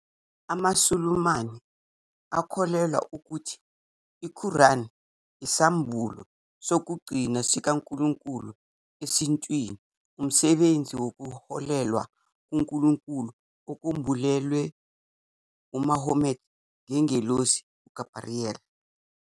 AmaSulumane akholelwa ukuthi iQuran iyisambulo sokugcina sikaNkulunkulu esintwini, umsebenzi wokuholwa nguNkulunkulu okwembulelwe uMuhammad ngengelosi uGabriyeli.